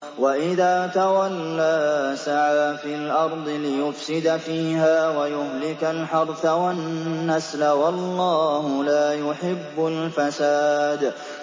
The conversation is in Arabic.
وَإِذَا تَوَلَّىٰ سَعَىٰ فِي الْأَرْضِ لِيُفْسِدَ فِيهَا وَيُهْلِكَ الْحَرْثَ وَالنَّسْلَ ۗ وَاللَّهُ لَا يُحِبُّ الْفَسَادَ